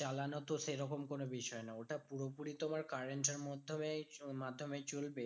চালানো তো সেরকম কোনো বিষয় না। ওটা পুরোপুরি তোমার current এর মাধ্যমেই মাধ্যমে চলবে।